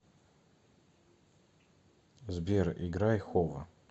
сбер играй хово